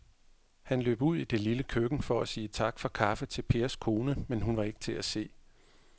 Han løb ud i det lille køkken for at sige tak for kaffe til Pers kone, men hun var ikke til at se.